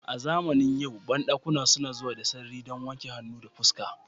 A zamanin yau bandakuna suna zuwa da sarari don wanke hannu da fuska